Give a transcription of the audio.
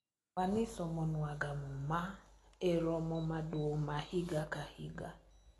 wan isomo nwaga muma e romo maduong' ma higa ka higa